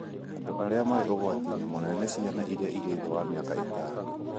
Andũ arĩa marĩ ũgwati-inĩ mũnene nĩ ciana iria irĩ thĩ wa mĩaka ĩtano